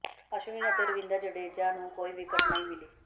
ਅਸ਼ਵਿਨ ਅਤੇ ਰਵਿੰਦਰ ਜਡੇਜਾ ਨੂੰ ਕੋਈ ਵਿਕਟ ਨਹੀਂ ਮਿਲੀ